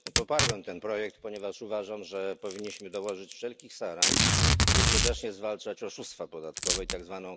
Poparłem ten projekt, ponieważ uważam, że powinniśmy dołożyć wszelkich starań, by skutecznie zwalczać oszustwa podatkowe i tzw.